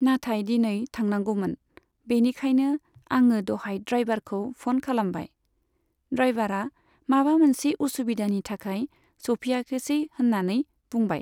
नाथाय दिनै थांनांगौमोन। बिनिखायनो आङो दहाय द्राइभारखौ फन खालामबाय। द्राइभारा माबा मोनसे उसुबिदानि थाखाय सौफैयाखिसै होन्नानै बुंबाय।